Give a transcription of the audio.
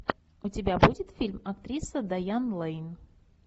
у тебя будет фильм актриса дайан лэйн